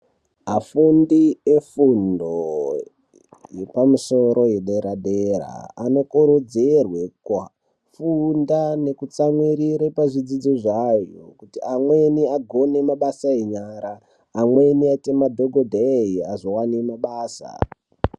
Afundi efundo yepamusoro yedera-dera, anokurudzirwa kufunda nekutsamwirire pazvidzidzo zvayo. Kuti amweni agone mabasa enyaya, amweni aite madhogodheya azovane mabasa.